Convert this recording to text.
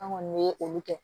An kɔni ye olu kɛ